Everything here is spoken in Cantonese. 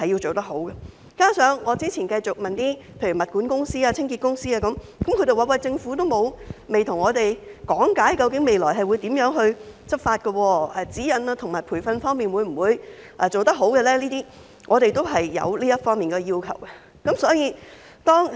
再者，我之前曾詢問物管公司、清潔公司等，他們也表示政府未有向他們講解未來會如何執法，以及在指引和培訓上如何做好，我們是有這方面的要求的。